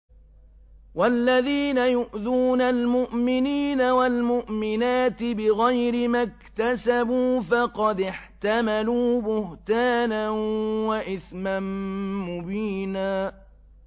وَالَّذِينَ يُؤْذُونَ الْمُؤْمِنِينَ وَالْمُؤْمِنَاتِ بِغَيْرِ مَا اكْتَسَبُوا فَقَدِ احْتَمَلُوا بُهْتَانًا وَإِثْمًا مُّبِينًا